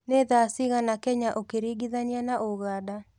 ni thaa cĩĩgana Kenya ukiringithania na uganda